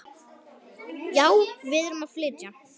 Já, við erum að flytja.